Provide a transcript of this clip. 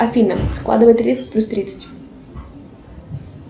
афина складывай тридцать плюс тридцать